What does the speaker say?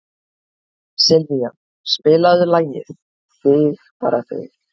Sylvía, spilaðu lagið „Þig bara þig“.